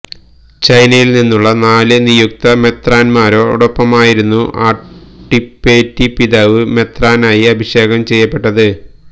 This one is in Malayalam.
ചൈനയില് നിന്നുള്ള നാല് നിയുക്ത മെത്രാന്മാരോടൊപ്പമായിരുന്നു അട്ടിപ്പേറ്റി പിതാവ് മെത്രാനായി അഭിഷേകം ചെയ്യപ്പെട്ടത്